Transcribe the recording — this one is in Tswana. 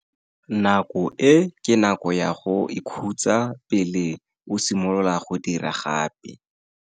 Nako e ke nako ya go ikhutsa pele o simolola go dira gape.